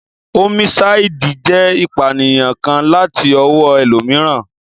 Ómísáìdì jẹ́ ìpànìyàn kan láti ọwọ́ ẹlòmíràn